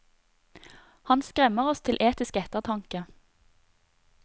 Han skremmer oss til etisk ettertanke.